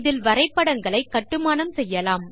இதில் வரைபடங்களை கட்டுமானம் செய்யலாம்